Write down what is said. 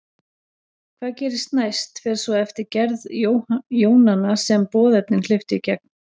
Hvað gerist næst fer svo eftir gerð jónanna sem boðefnin hleyptu í gegn.